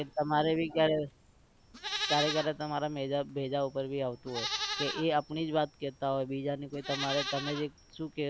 એ તમારે भी ક્યારે ક્યારે ક્યારે તમાર भेजा ઉપર भी આવતું હોય કે એ આપણી જ વાત કહેતા હોય બીજાની કોઈ તમારા તમે જે શું કહો